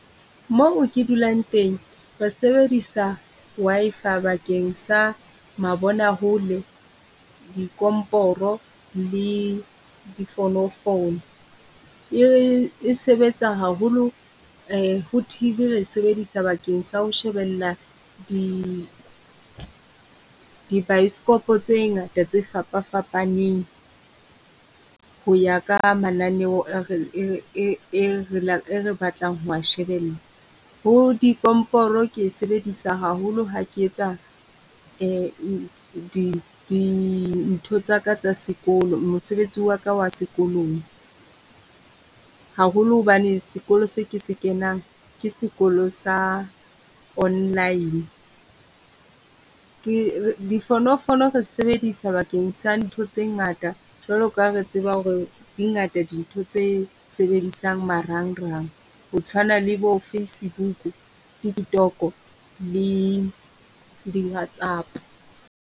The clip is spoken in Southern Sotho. Moo ke dulang teng, ra sebedisa Wi-Fi bakeng sa mabonahole, dikomporo le di fonofono. E le e sebetsa haholo ho T_V re e sebedisa bakeng sa ho shebella di dibioskopo tse ngata tse fapafapaneng ho ya ka mananeo e re batlang ho shebella. Bo dikomporo ke e sebedisa haholo ha ke etsa di dintho tsa ka tsa sekolo, mosebetsi wa ka wa sekolong. Haholo hobane sekolo se ke se kenang ke sekolo sa Online. Ke difonofono re sebedisa bakeng sa ntho tse ngata jwalo ka ha re tseba ho re di ngata dintho tse sebedisang marangrang ho tshwana le bo Facebook, TikTok-o le di Whatsapp.